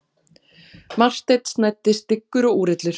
Marteinn snæddi styggur og úrillur.